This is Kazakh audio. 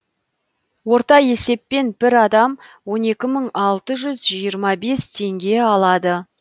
орта есеппен бір адам он екі мың алты жүз жиырма бес теңге алады